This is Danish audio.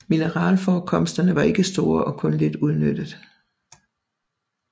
Mineralforekomsterne var ikke store og kun lidt udnyttet